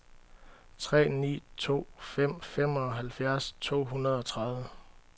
tre ni to fem femoghalvfjerds to hundrede og tredive